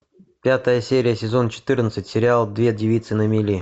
пятая серия сезон четырнадцать сериал две девицы на мели